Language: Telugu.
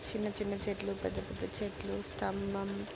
చిన్న చిన్న చెట్లు పెద్ద పెద్ద చెట్లు స్థంభం --